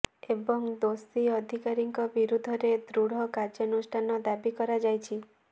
ଏବଂ ଦୋଷୀ ଅଧିକାରୀଙ୍କ ବିରୁଦ୍ଧରେ ଦୃଢ କାର୍ଯ୍ୟାନୁଷ୍ଠାନ ଦାବି କରାଯାଇଛି